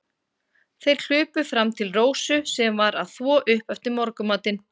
Þeir hlupu fram til Rósu, sem var að þvo upp eftir morgunmatinn.